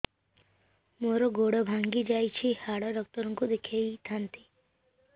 ମୋର ଗୋଡ ଭାଙ୍ଗି ଯାଇଛି ହାଡ ଡକ୍ଟର ଙ୍କୁ ଦେଖେଇ ଥାନ୍ତି